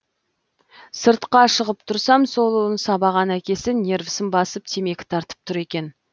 сыртқа шығып тұрсам сол ұлын сабаған әкесі нервысын басып темекі тартып тұр екен